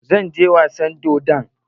Zan je wasan dodon.